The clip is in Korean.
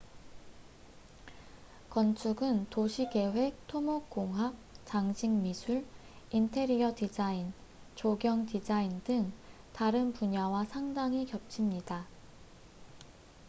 건축은 도시계획 토목공학 장식미술 인테리어 디자인 조경디자인 등 다른 분야와 상당히 겹칩니다